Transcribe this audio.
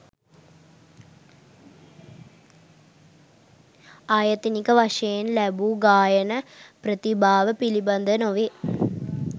ආයතනික වශයෙන් ලැබූ ගායන ප්‍රතිභාව පිළිබඳ නොවේ.